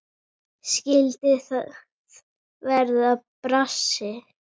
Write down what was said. Skyldi það verða brassi?